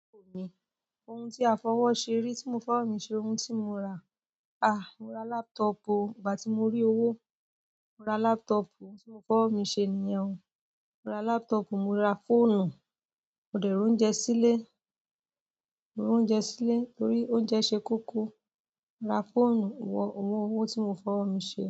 Òun tí a fọwọ́ ṣe rí tí mo fọwọ́ mi ṣe, ohun tí mo ra. Ah, mo ra laptop o. Ìgbà tí mo rí owó, mo ra laptop. Ohun tí mo fọwọ́ mi ṣe nìyẹn. Mo ra laptop, mo ra fóònù, mo dẹ̀ roúnjẹ sílé. Mo roúnjẹ sílé torí oúnjẹ ṣe kóko. Mo ra fóònù, owó owó tí mo fọwọ́ ara mi ṣe.